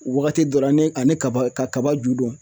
Wagati dɔ la ne ane kaba ka kaba ju don